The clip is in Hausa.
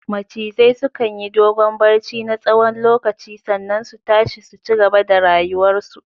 Macizai sukan yi dogon barci na tsawon lokaci sannan su tashi su cigaba da rayuwar su